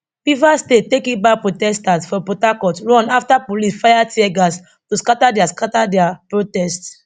rivers state take it back protesters for port harcourt run afta police fire teargas to scata dia scata dia protest